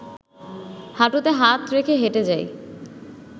হাঁটুতে হাত রেখে হেঁটে যাই